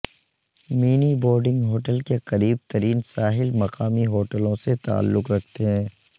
many boarding hotel کے قریب ترین ساحل مقامی ہوٹلوں سے تعلق رکھتے ہیں